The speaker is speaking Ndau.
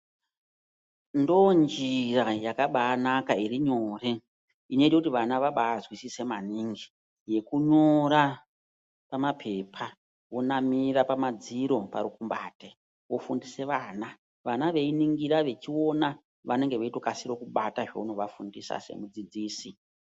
Ndonjira yakabanaka irinyore inoite kuti vana vabazwisise maningi. Yekunyora pamapepa yekunamira pamadziro parukumbate kufundise vana. Vana veiningira vechiona vanenge vachitokasire kubata zvunovafundisa semudzidzisi.